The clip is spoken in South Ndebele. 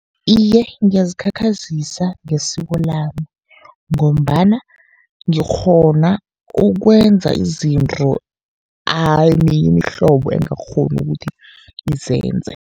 Iye, ngiyazikhakhazisa ngesiko lami, ngombana ngikghona ukwenza izinto eminye imihlobo engakghoni ukuthi izenze.